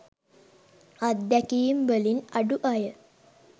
අත්දැකීම් වලින් අඩු අය